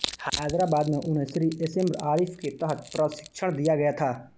हैदराबाद में उन्हें Shri S M Arif के तहत प्रशिक्षण दिया गया था